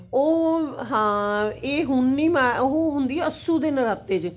ਉਹ ਹਾਂ ਇਹ ਹੁਣ ਨੀ ਉਹ ਹੁੰਦੀ ਅੱਸੂ ਦੇ ਨਰਾਤੇ ਚ